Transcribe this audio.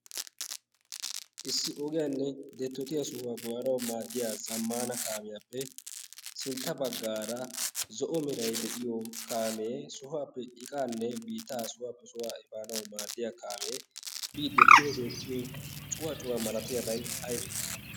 issi ogiyaanne deettotiya sohuwaa baanawu maaddiya zammaana kaamiyaappe sintta baggaara zo'o meray de'iyo kaamee sohuwaappe iqaanne biitaa sohuwaappe sohuwaa ifaanawu maaddiya kaamee biidde pude deettiyo cuwaacuwaa malatiyaabay aybee